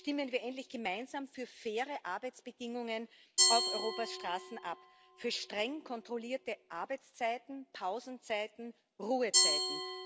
Stimmen wir endlich gemeinsam für faire Arbeitsbedingungen auf Europas Straßen ab, für streng kontrollierte Arbeitszeiten, Pausenzeiten, Ruhezeiten.